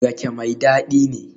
Rake mai dadi ne?